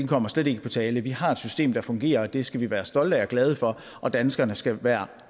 kommer slet ikke på tale vi har et system der fungerer og det skal vi være stolte af og glade for og danskerne skal hver